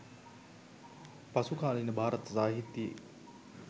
පසුකාලීන භාරත සාහිත්‍යයේ